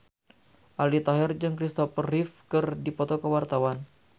Aldi Taher jeung Christopher Reeve keur dipoto ku wartawan